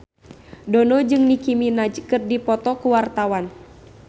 Dono jeung Nicky Minaj keur dipoto ku wartawan